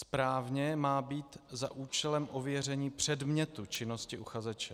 Správně má být "za účelem ověření předmětu činnosti uchazeče".